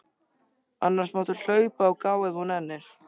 Annars máttu hlaupa og gá ef þú nennir.